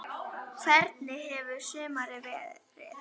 Hvernig hefur sumarið verið?